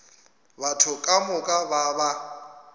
batho ka moka ba ba